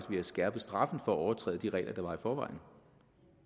vi har skærpet straffen for at overtræde de regler der var i forvejen